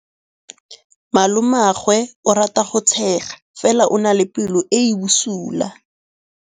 Malomagwe o rata go tshega fela o na le pelo e e bosula.